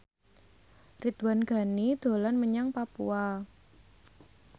Ridwan Ghani dolan menyang Papua